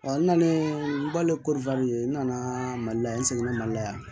n nanalen n bali ko n nana mali la yan n sɛgɛn na mali la yan